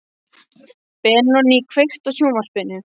Benoný, kveiktu á sjónvarpinu.